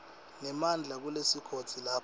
nemandla kulesigodzi lapho